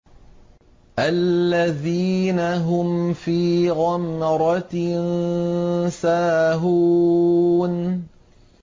الَّذِينَ هُمْ فِي غَمْرَةٍ سَاهُونَ